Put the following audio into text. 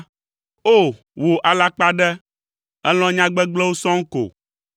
O! Wò alakpaɖe, èlɔ̃ nya gbegblẽwo sɔŋ ko!